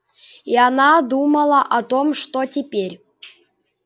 и она думала о том что теперь